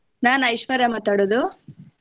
ನಾನ್ ಐಶ್ವರ್ಯಾ ಮಾತಾಡೋದು.